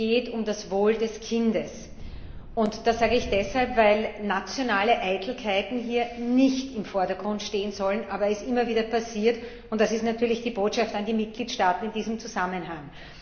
Es geht um das Wohl des Kindes. Das sage ich deshalb, weil nationale Eitelkeiten hier nicht im Vordergrund stehen sollen, aber es immer wieder passiert, und das ist natürlich die Botschaft an die Mitgliedstaaten in diesem Zusammenhang.